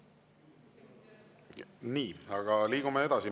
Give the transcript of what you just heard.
Nii, liigume edasi.